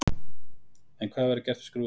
En hvað verður gert við skrúfuna?